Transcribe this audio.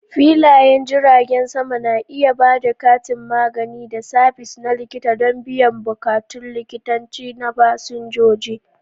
Filayen jiragen sama na iya ba da kantin magani da sabis na likita don biyan bukatun likitanci na fasinjoji.